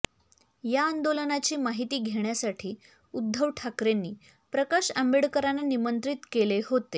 या आंदोलनाची माहिती घेण्यासाठी उद्धव ठाकरेंनी प्रकाश आंबेडकरांना निमंत्रित केले होते